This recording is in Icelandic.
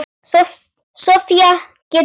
Sofía getur átt við